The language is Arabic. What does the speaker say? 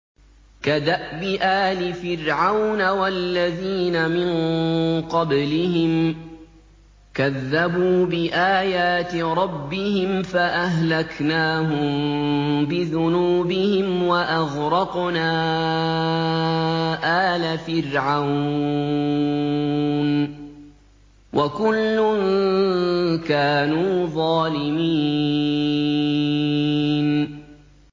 كَدَأْبِ آلِ فِرْعَوْنَ ۙ وَالَّذِينَ مِن قَبْلِهِمْ ۚ كَذَّبُوا بِآيَاتِ رَبِّهِمْ فَأَهْلَكْنَاهُم بِذُنُوبِهِمْ وَأَغْرَقْنَا آلَ فِرْعَوْنَ ۚ وَكُلٌّ كَانُوا ظَالِمِينَ